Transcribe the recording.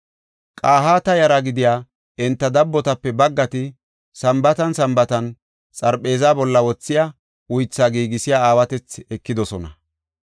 Qahaata yara gidiya enta dabbotape baggati Sambaatan Sambaatan xarpheeza bolla wothiya uythaa giigisiya aawatethi ekidosona.